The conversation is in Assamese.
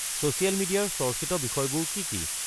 ছ'চিয়েল মিডিয়াৰ চৰ্চিত বিষয়বোৰ কি কি